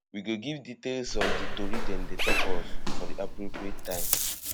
we go give details of di tori dem dey tok us for di appropriate time